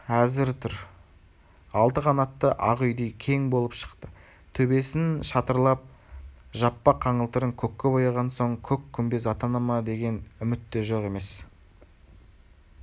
әзір тұр алты қанатты ақ үйдей кең болып шықты төбесін шатырлап жаппа-қаңылтырын көкке бояған соң көк күмбез атана ма деген үміт те жоқ емес